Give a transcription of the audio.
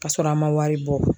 Ka sɔrɔ a ma wari bɔ